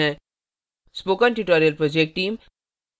spoken tutorial project team